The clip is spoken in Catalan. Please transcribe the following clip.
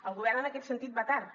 el govern en aquest sentit va tard